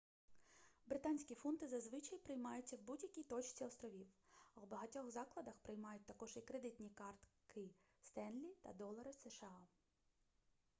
британські фунти зазвичай приймаються в будь-якій точці островів а у багатьох закладах приймають також і кредитні картки stanley та долари сша